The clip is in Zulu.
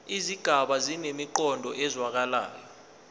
izigaba zinemiqondo ezwakalayo